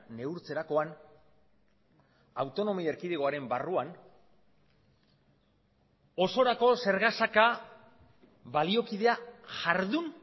neurtzerakoan autonomia erkidegoaren barruan osorako zergasaka baliokidea jardun